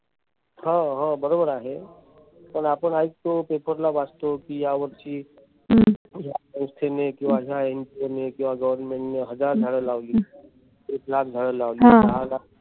हो हो बरोबर आहे. पण आपण ऐकतो paper ला वाचतो कि या वर्षी या संस्थेने किंवा या NGO ने किंवा government ने हजार झाड लावली. एक लाख झाडं लावली. दहा लाख